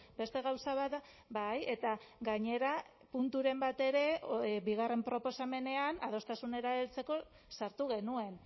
beste gauza bat da bai eta gainera punturen bat ere bigarren proposamenean adostasunera heltzeko sartu genuen